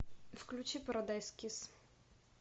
включи парадайз кисс